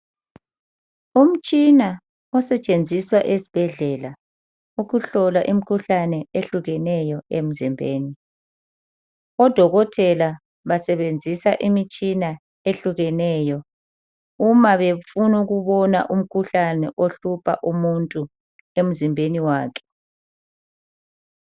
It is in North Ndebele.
Umtshina osetshenziswa esibhedlela ukuhlola imikhuhlane ehlukeneyo emzimbeni, odokotela basebenzisa imitshina ehlukeneyo uma befuna ukubona umkhuhlane ohlupha umuntu emzimbeni wakhe.